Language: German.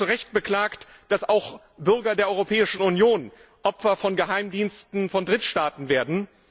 Sie haben zu Recht beklagt, dass auch Bürger der Europäischen Union Opfer von Geheimdiensten von Drittstaaten werden.